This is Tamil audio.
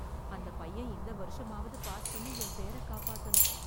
அந்தப் பையன் இந்த வருஷமாவது பாஸ் பண்ணி என் பேர காப்பாத்தணும்